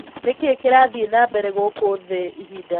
ni kĩĩ kĩrathĩe nambere guku thĩĩ ĩhĩnda ini riri